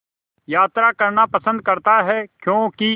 यात्रा करना पसंद करता है क्यों कि